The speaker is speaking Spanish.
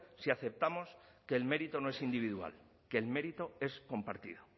si aceptamos que el mérito no es individual que el mérito es compartido